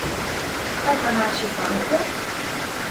Kaj pa naši fantje?